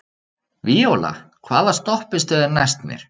Víóla, hvaða stoppistöð er næst mér?